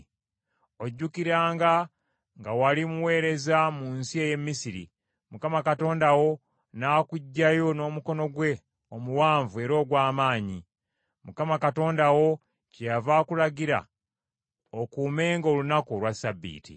Ojjukiranga nga wali muweereza mu nsi ey’e Misiri, Mukama Katonda wo n’akuggyayo n’omukono gwe omuwanvu era ogw’amaanyi. Mukama Katonda wo kyeyava akulagira okuumenga olunaku olwa Ssabbiiti.